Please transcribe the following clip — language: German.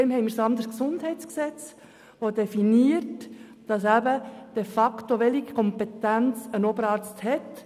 Unser Gesundheitsgesetz (GesG) definiert, welche Kompetenz ein Oberarzt hat.